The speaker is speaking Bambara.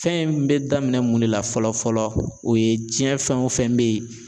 Fɛn in bɛ daminɛ mun de la fɔlɔ fɔlɔ o ye tiɲɛ fɛn o fɛn bɛ yen